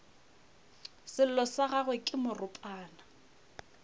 sello sa gagwe ke moropana